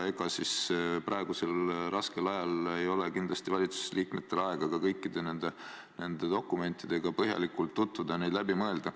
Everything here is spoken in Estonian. Ega siis praegusel raskel ajal ei ole kindlasti valitsusel aega ka kõikide nende dokumentidega põhjalikult tutvuda, neid läbi mõelda.